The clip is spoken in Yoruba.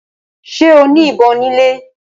Ṣe o ní ìbọn ni ilè?